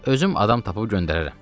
Özüm adam tapıb göndərərəm.